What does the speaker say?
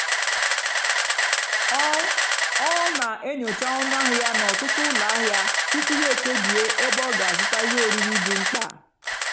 ọ́ ọ́ nà-ènyócha ónú àhịá n'ótùtu ụ́lọ àhịá túpú yá èkpèbíè ébé ọ́ gà-àzụ́tá íhé órírì dì mkpá.